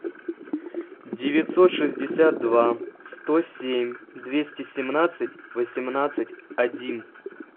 девятьсот шестьдесят два сто семь двести семнадцать восемнадцать один